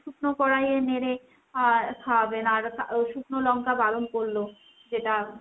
শুকনো কড়াইয়ে নেড়ে আহ খাওয়াবেন। আর শুকনো লঙ্কা বারণ করলো। যেটা